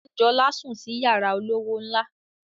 Anjola sùn sí yara olówó ńlá